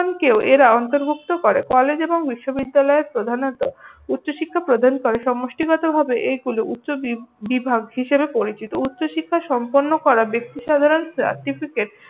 কেও এঁরা অন্তর্ভুক্ত করে। কলেজ এবং বিশ্ববিদ্যালয়ে প্রধানত উচ্চশিক্ষা প্রদান করে সমষ্টিগত ভাবে এইগুলো উচ্চবিভাগ হিসেবে পরিচিত। উচ্চশিক্ষা সম্পন্ন করা ব্যক্তিসাধারন হিসেবে